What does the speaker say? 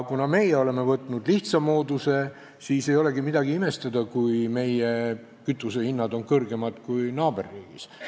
Kuna aga meie oleme võtnud lihtsa mooduse, siis ei olegi midagi imestada, kui meie kütusehinnad on kõrgemad kui naaberriigis.